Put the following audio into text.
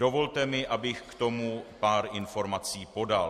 Dovolte mi, abych k tomu pár informací podal.